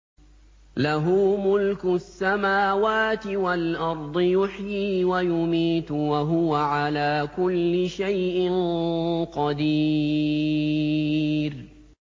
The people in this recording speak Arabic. لَهُ مُلْكُ السَّمَاوَاتِ وَالْأَرْضِ ۖ يُحْيِي وَيُمِيتُ ۖ وَهُوَ عَلَىٰ كُلِّ شَيْءٍ قَدِيرٌ